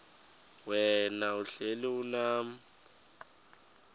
wena uhlel unam